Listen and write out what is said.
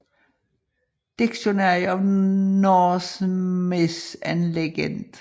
Dictionary of Norse Myth and Legend